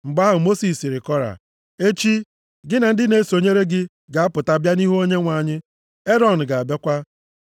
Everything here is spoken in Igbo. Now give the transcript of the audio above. Mgbe ahụ, Mosis sịrị Kora, “Echi, gị na ndị na-esonyere gị ga-apụta bịa nʼihu Onyenwe anyị. Erọn ga-abịakwa.